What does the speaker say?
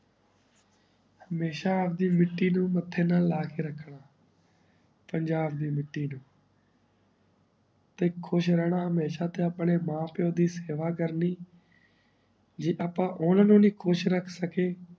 ਹਮ੍ਯ੍ਸ਼ਾ ਆਪ ਦੀ ਮਿੱਟੀ ਨੂ ਮੱਥੇ ਨਾਲ ਲਾ ਕੇ ਰਾਕਨਾ ਪੰਜਾਬ ਦੀ ਮਿੱਟੀ ਨੂ ਤੇ ਖੁਸ਼ ਰਹਨਾ ਹਮੇਸ਼ਾ ਤੇ ਅਪਨੀ ਮਾਂ ਪੀਓ ਦੀ ਸੇਵਾ ਕਰਨੀ ਜੇ ਆਪਾਂ ਓਨਾ ਨੂ ਨਾਈ ਖੁਸ਼ ਰਾਖ ਸਕੇ